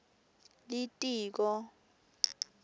litiko